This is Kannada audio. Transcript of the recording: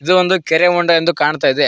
ಇದು ಒಂದು ಕೆರೆ ಹೊಂಡ ಎಂದು ಕಾಣ್ತಾ ಇದೆ.